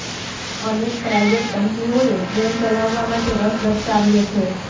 અનેક પ્રાઇવેટ કંપનીઓએ ટ્રેન ચલાવવા માટે રસ દર્શાવ્યો છે